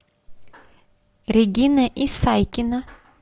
регина исайкина